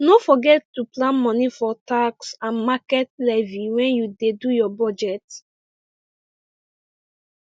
no forget to plan money for tax and market levy when you dey do your budget